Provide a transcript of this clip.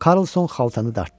Karlson xaltanı dartdı.